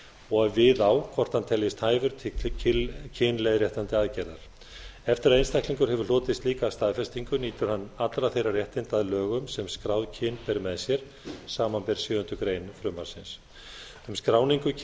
og við á hvort hann teljist hæfur til kynleiðréttandi aðgerðar eftir að einstaklingur hefur hlotið slíka staðfestingu nýtur hann allra þeirra réttinda að lögum sem skráð kyn ber með sér samanber sjöundu greinar frumvarpsins um skráningu